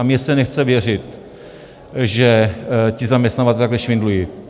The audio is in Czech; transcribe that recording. A mně se nechce věřit, že ti zaměstnavatelé takhle švindlují.